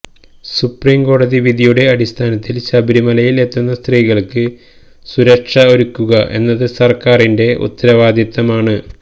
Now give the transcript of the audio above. സുപ്രീംകോടതി വിധിയുടെ അടിസ്ഥാനത്തില് ശബരിമലയില് എത്തുന്ന സ്ത്രീകള്ക്ക് സുരക്ഷ ഒരുക്കുക എന്നത് സര്ക്കാരിന്റെ ഉത്തരവാദിത്തമാണ്